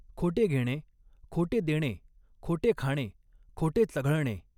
खोटे घेणे, खोटे देणे, खोटे खाणे, खोटे चघळणे.